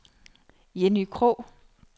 Jenny Krogh